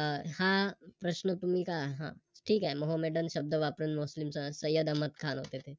अं हा प्रश्न तुम्ही का ठीक आहे शब्द वापरून मुस्लिम सय्यद अहमद खान होते ते